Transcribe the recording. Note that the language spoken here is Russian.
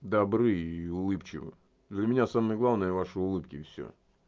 добры и улыбчивы для меня самое главное ваши улыбки и всё